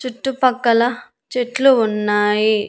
చుట్టుపక్కల చెట్లు ఉన్నాయి.